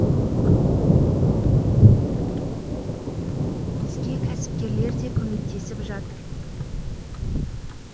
бізге кәсіпкерлер де көмектесіп жатыр